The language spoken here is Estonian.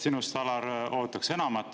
Sinust, Alar, ootaks enamat.